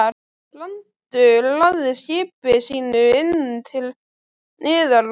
Brandur lagði skipi sínu inn til Niðaróss.